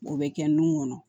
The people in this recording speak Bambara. O bɛ kɛ nun kɔnɔ